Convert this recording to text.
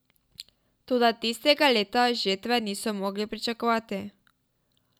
Toda tistega leta žetve niso mogli pričakovati.